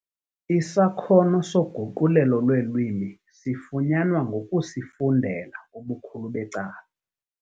Isakhono soguqulelo lweelwimi sifunyanwa ngokusifundela ubukhulu becala.